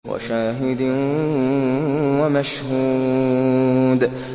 وَشَاهِدٍ وَمَشْهُودٍ